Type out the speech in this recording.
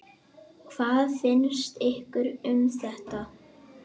Hvað finnst ykkur um þetta?